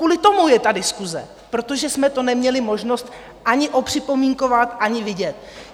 Kvůli tomu je ta diskuse, protože jsme to neměli možnost ani opřipomínkovat, ani vidět.